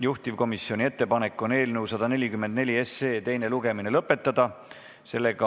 Juhtivkomisjoni ettepanek on eelnõu 144 teine lugemine lõpetada.